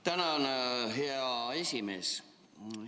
Tänan, hea esimees!